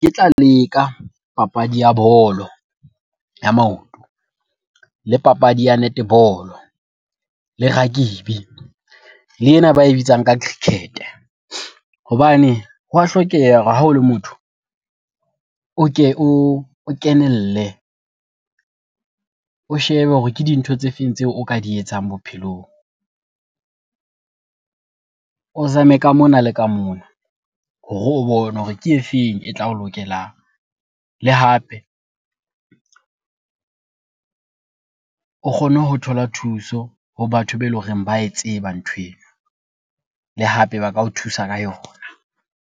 Tla leka papadi ya bolo ya maoto le papadi ya netball-o, le rugby le ena ba e bitsang ka cricket-e. Hobane ho wa hlokeha hore ha o le motho o ke o kenelle, o shebe hore ke dintho tse feng tseo o ka di etsang bophelong? O zame ka mona le ka mona hore o bone hore ke e feng e tla o lokelang. Le hape o kgone ho thola thuso ho batho be eleng hore ba e tseba nthweno le hape ba ka o thusa ka yona.